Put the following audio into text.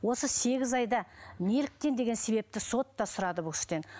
осы сегіз айда неліктен деген себепті сот та сұрады бұл кісіден